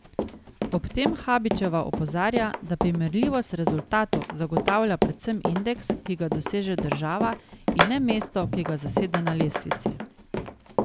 Ob tem Habičeva opozarja, da primerljivost rezultatov zagotavlja predvsem indeks, ki ga doseže država, in ne mesto, ki ga zasede na lestvici.